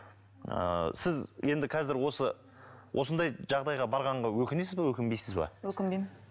ыыы сіз енді қазір осы осындай жағдайға барғанға өкінесіз бе өкінбейсіз бе өкінбеймін